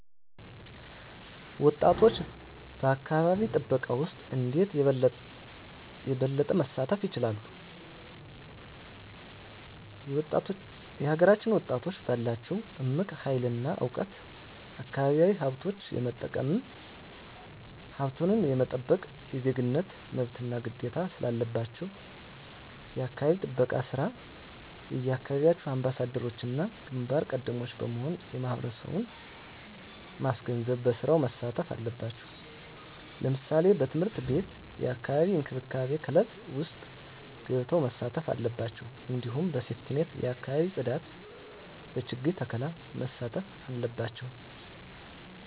ወጣቶች በአካባቢ ጥበቃ ውስጥ እንዴት የበለጠ መሳተፍ ይችላሉ? የሀገራችንን ወጣቶች ባላቸው እምቅ ሀይል እና እውቀት አካባቢያዊ ሀብቶች የመጠቀምም ሀብቱን የመጠበቅም የዜግነት መብትና ግዴታም ስላለባችሁ የአካባቢ ጥበቃ ስራ የየአካባቢያችሁ አምባሳደሮችና ግንባር ቀደሞች በመሆን ማህበረሰቡን ማስገንዘብ በስራው መሳተፍ አለባቸው ለምሳሌ በትምህርት ቤት የአካባቢ እንክብካቤ ክበብ ውስጥ ገብተው መሳተፍ አለባቸው እንዲሁም በሴፍትኔት የአካባቢ ፅዳት በችግኝ ተከላ መሳተፍ አለባቸው